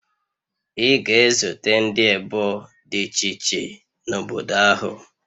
Ị ga-ezute ndị ebo dị iche iche n'obodo ahụ